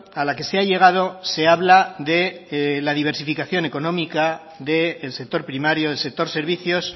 a la que se ha llegado se habla de la diversificación económica del sector primario del sector servicios